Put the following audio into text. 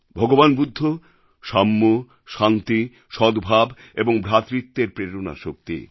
ভগবান বুদ্ধ সাম্য শান্তি সদ্ভাব এবং ভ্রাতৃত্বের প্রেরণাশক্তি